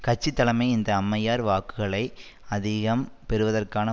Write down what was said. கட்சி தலைமை இந்த அம்மையார் வாக்குகளை அதிகம் பெறுவதற்கான